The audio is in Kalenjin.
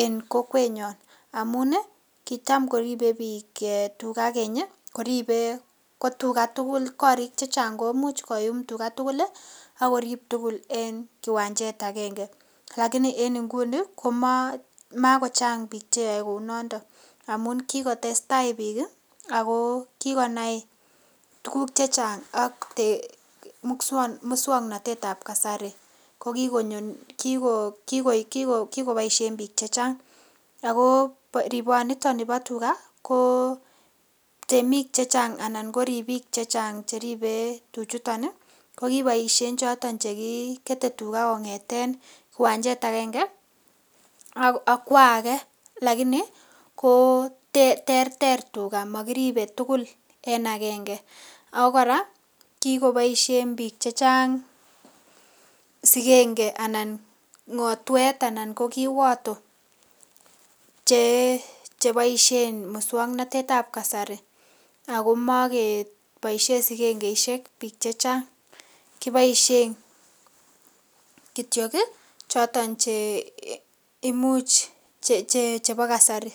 en kokwenyon amun kitam koripe biik tuga keny koripe ko tuga tugul. Korik chechang komuch koyum tuga tugul ak korib tugul en kiwanjet agenge. Lakini en nguni komagochang biik che yoe kounondon amun kigotestai biik ago kigonai tuguk che chang ak muswaknatet ab kasari, ko kigoboishen biik chechang. Ago riponito nibo tuga ko temik chechang anan ko ripik chechang che ribe tuchuton ko kiboishen choton che kikete tuga kong'eten uwanjet agenge akwo age lagini ko terter tuga mokiripe tugul en agenge, ago kora kigoboishen biik che chang sigenge anan ng'otwet anan ko kiwoto cheboishen muswaknatet ab kasari ago mogeboishen sigengeishek biik che chang kiboishen kityok choton chebo kasari